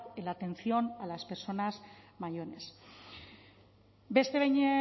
en la atención a las personas mayores beste behin